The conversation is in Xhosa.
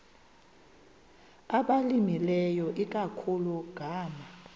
abalimileyo ikakhulu ngama